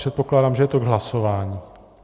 Předpokládám, že je to k hlasování.